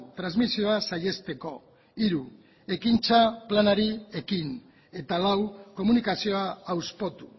transmisioa saihesteko hiru ekintza planari ekin eta lau komunikazioa hauspotu